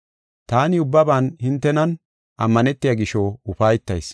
Taani ubbaban hintenan ammanetiya gisho ufaytayis.